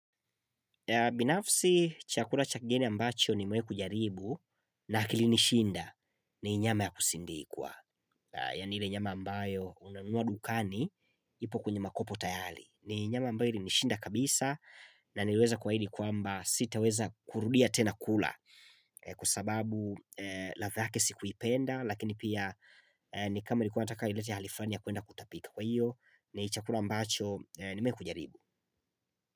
Binafsi chakula cha kigeni ambacho nimewai kujaribu na kilinishinda ni nyama ya kusindikwa Yaani ile nyama ambayo unanua madukani ipo kwenye makopo tayali ni nyama ambayo ilinishinda kabisa na niliweza kuahidi kwamba sitaweza kurudia tena kula Kwa sababu ladha yake sikuipenda lakini pia ni kama ilikua inataka ilete hali flani ya kuenda kutapika Kwa hiyo ni chakula ambacho nimewai kujaribu.